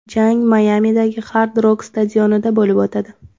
Jang Mayamidagi Hard Rock stadionida bo‘lib o‘tadi.